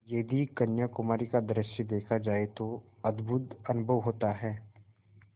यदि कन्याकुमारी का दृश्य देखा जाए तो अद्भुत अनुभव होता है